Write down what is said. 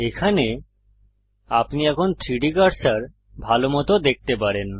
এখানে আপনি এখন 3ডি কার্সার ভালমত দেখতে পারেন